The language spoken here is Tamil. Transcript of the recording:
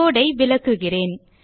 கோடு ஐ விளக்குகிறேன்